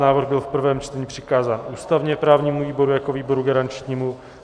Návrh byl v prvém čtení přikázán ústavně-právnímu výboru jako výboru garančnímu.